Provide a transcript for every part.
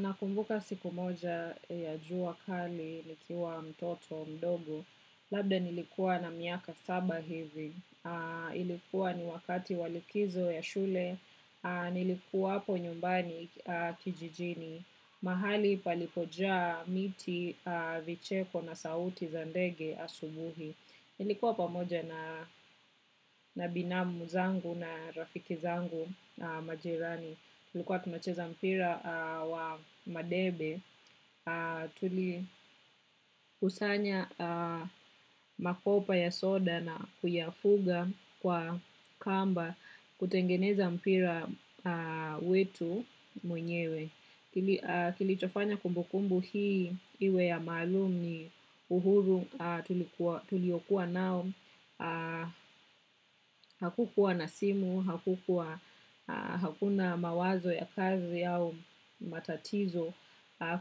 Nakumbuka siku moja ya jua kali nikiwa mtoto mdogo. Labda nilikuwa na miaka saba hivi. Ilikuwa ni wakati walikizo ya shule. Nilikuwa hapo nyumbani kijijini. Mahali palipojaa miti, vicheko na sauti za ndege asubuhi. Nilikuwa pamoja na binamu zangu na rafiki zangu majirani. Tulikuwa tunacheza mpira wa madebe. Tulikusanya makopa ya soda na kuyafuga kwa kamba kutengeneza mpira wetu mwenyewe. Kilichofanya kumbukumbu hii iwe ya maalum ni uhuru tulio kuwa nao. Hakukuwa na simu, hakuna mawazo ya kazi au matatizo.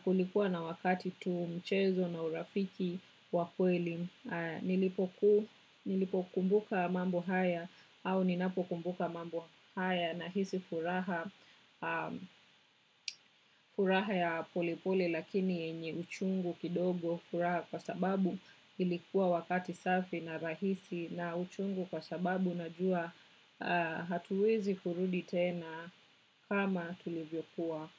Kulikuwa na wakati tu, mchezo na urafiki wakweli. Nilipo kumbuka mambo haya au ninapo kumbuka mambo haya na hisi furaha furaha ya polepole lakini yenye uchungu kidogo furaha kwa sababu ilikuwa wakati safi na rahisi na uchungu kwa sababu na jua hatuwezi kurudi tena kama tulivyo kuwa.